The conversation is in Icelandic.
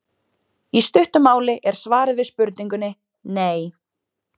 Í stuttu máli er svarið við spurningunni nei.